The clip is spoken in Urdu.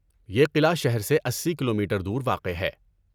یہ قلعہ شہر سے اسی کلومیٹر دور واقع ہے